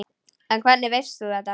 En hvernig veist þú þetta?